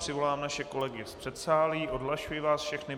Přivolám naše kolegy z předsálí, odhlašuji vás všechny.